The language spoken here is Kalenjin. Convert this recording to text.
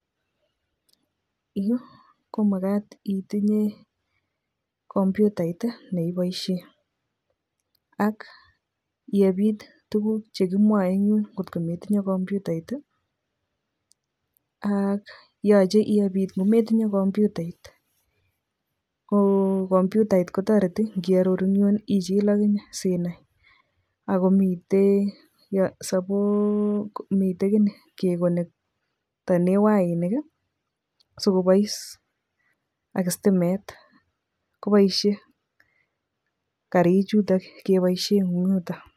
Yu komagat itinye computait ii neipoisien ak iebiit tuguk chegimwoe en yuun kot kometinye komputait ak yoche iebiit kot kometinye kompyutait, ko kompyutait kotoreti kyororuu kiit ichiil akinyee sinai, ak komiten um miten inee kegoktenen wainik ii sigopoiss ak stimeet koboisyee kariik chuton kepoisyien en yuton.